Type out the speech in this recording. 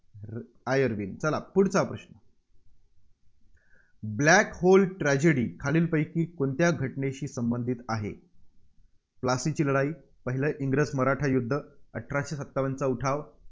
Irwin. चला पुढचा प्रश्न black hole tragedy खालील पैकी कोणत्या घटनेशी संबंधित आहे? प्लासीची लढाई, पहिले इंग्रज-मराठा युद्ध, अठराशे सत्तावनचा उठाव